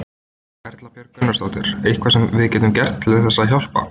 Erla Björg Gunnarsdóttir: Eitthvað sem við getum gert til þess að hjálpa?